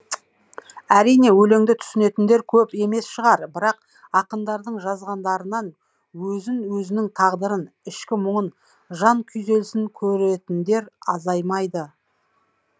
әрине өлеңді түсінетіндер көп емес шығар бірақ ақындардың жазғандарынан өзін өзінің тағдырын ішкі мұңын жан күйзелісін көретіндер азаймайды